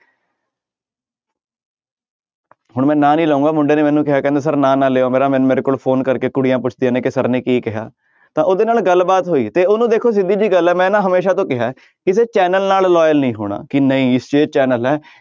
ਹੁਣ ਮੈਂ ਨਾਂ ਨੀ ਲਊਂਗਾ ਮੁੰਡੇ ਨੇ ਮੈਨੂੰ ਕਿਹਾ ਕਹਿੰਦਾ ਸਰ ਨਾਂ ਨਾ ਲਇਓ ਮੇਰਾ ਮੇਰੇ ਕੋਲ phone ਕਰਕੇ ਕੁੜੀਆਂ ਪੁਛਦੀਆਂ ਨੇ ਕਿ ਸਰ ਨੇ ਕੀ ਕਿਹਾ ਤਾਂ ਉਹਦੇ ਨਾਲ ਗੱਲਬਾਤ ਹੋਈ ਤੇ ਉਹਨੂੰ ਦੇਖੋ ਸਿੱਧੀ ਜਿਹੀ ਗੱਲ ਹੈ ਮੈਂ ਨਾ ਹਮੇਸ਼ਾ ਤੋਂ ਕਿਹਾ ਹੈ ਕਿਸੇ ਚੈਨਲ ਨਾਲ loyal ਨੀ ਹੋਣਾ ਕਿ ਨਹੀਂ ਇਹ ਚੈਨਲ ਹੈ,